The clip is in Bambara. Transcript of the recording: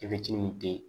min te